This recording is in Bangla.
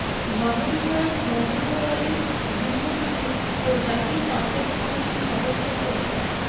ধর্মবিষয়ক মন্ত্রণালয়ের যুগ্ম সচিব ও জাতীয় চাঁদ দেখা কমিটির সদস্য মো